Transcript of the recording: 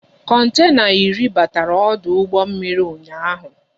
Kontena iri batara ọdụ ụgbọ mmiri ụnyaahụ